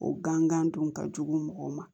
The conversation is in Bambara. O gan gan dun ka jugu mɔgɔw ma